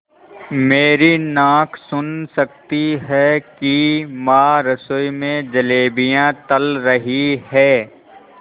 मेरी नाक सुन सकती है कि माँ रसोई में जलेबियाँ तल रही हैं